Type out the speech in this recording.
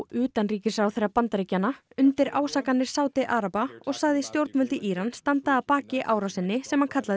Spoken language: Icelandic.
utanríkisráðherra Bandaríkjanna undir ásakanir Sádi araba og sagði stjórnvöld í Íran standa að baki árásinni sem hann kallar